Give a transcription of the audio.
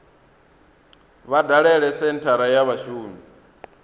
vha dalele senthara ya vhashumi